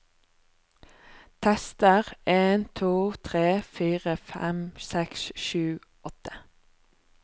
Tester en to tre fire fem seks sju åtte